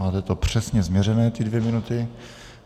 Máte to přesně změřené, ty dvě minuty.